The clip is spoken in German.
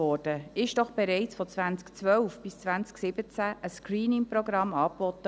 Wurde doch bereits von 2012 bis 2017 ein ScreeningProgramm angeboten.